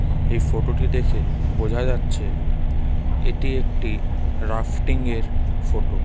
এই ফোটো টি দেখে বোঝা যাচ্ছে এটি একটি রাফটিং -এর ফোটো ।